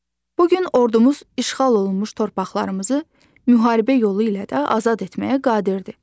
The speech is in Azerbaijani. Bu gün ordumuz işğal olunmuş torpaqlarımızı müharibə yolu ilə də azad etməyə qadirdir.